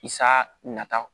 Sa nata